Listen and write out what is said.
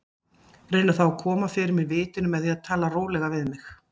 Reyna þá að koma fyrir mig vitinu með því að tala rólega við mig.